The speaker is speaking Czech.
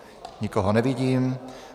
Nikoho nevidím.